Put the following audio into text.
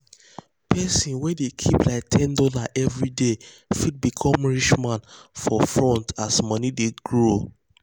person wey dey keep like ten dollars every dey fit become rich man for front as the money dey grow.